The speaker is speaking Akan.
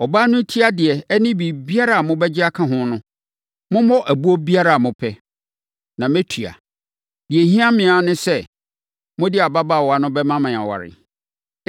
Ɔbaa no ti adeɛ ne biribiara a mobɛgye aka ho no, mommɔ ɛboɔ biara a mopɛ, na mɛtua. Deɛ ɛhia me ara ne sɛ, mode ababaawa no bɛma me aware.”